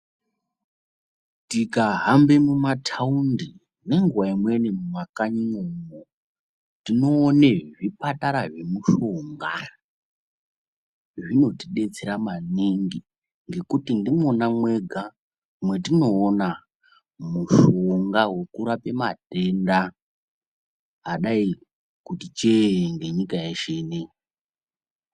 Tikahambe mumatawundi nenguwa imweni mumakanyimwomo, tinoona zvipatara zvemushonga, zvinotidetsera maningi ngekuti ndimwona mwega mwetinoona mushonga wokurape matenda adayi kuti cheeee, ngenyika yeshe ineyi.